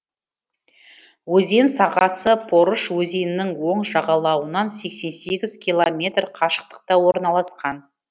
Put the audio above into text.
өзен сағасы порыш өзенінің оң жағалауынан сексен сегіз километр қашықтықта орналасқан